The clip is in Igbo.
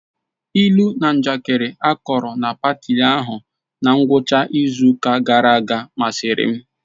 Ilu na njakịrị akọrọ na paati ahụ na ngwụcha izu ụka gara aga masịrị m